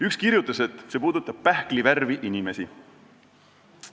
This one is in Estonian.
Üks kirjutas, et see puudutab pähklivärvi inimesi.